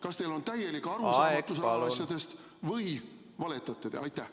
Kas teil on täielik arusaamatus asjadest või te valetate?